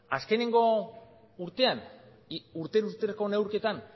azkenengo urtean urtero urteroko neurketan